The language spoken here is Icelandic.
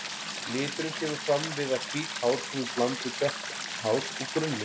Liturinn kemur fram við að hvít hár koma í bland við dökk hár úr grunnlit.